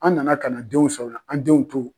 An nana ka na denw sɔrɔ an denw to